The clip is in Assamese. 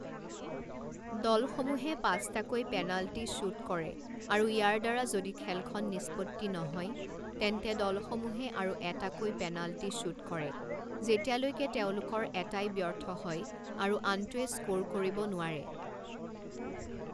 দলসমূহে পাঁচটাকৈ পেনাল্টি শ্বুট কৰে আৰু ইয়াৰ দ্বাৰা যদি খেলখন নিষ্পত্তি নহয়, তেন্তে দলসমূহে আৰু এটাকৈ পেনাল্টি শ্বুট কৰে যেতিয়ালৈকে তেওঁলোকৰ এটাই ব্যৰ্থ হয় আৰু আনটোৱে স্ক'ৰ কৰিব নোৱাৰে।